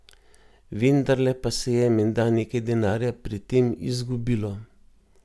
Vendarle pa se je menda nekaj denarja pri tem izgubilo.